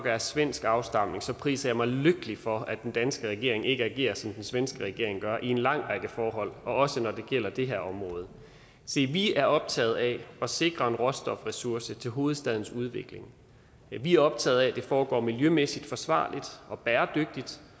er af svensk afstamning priser jeg mig lykkelig for at den danske regering ikke agerer som den svenske regering i en lang række forhold også når det gælder det her område se vi er optaget af at sikre en råstofressource til hovedstadens udvikling vi er optaget af at det foregår miljømæssigt forsvarligt og bæredygtigt